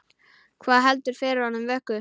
Hvað heldur fyrir honum vöku?